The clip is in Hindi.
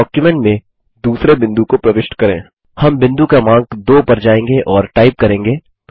हम बिंदु क्रमांक 2 पर जायेंगे और टाइप करेंगे